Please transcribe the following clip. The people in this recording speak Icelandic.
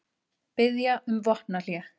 Biðja um vopnahlé